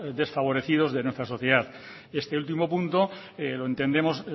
desfavorecidos de nuestra sociedad este último punto entendemos